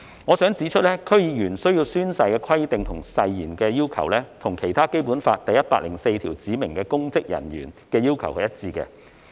我想指出，區議員需要宣誓的規定及誓言的要求，與《基本法》第一百零四條對指明公職人員的要求是一致的。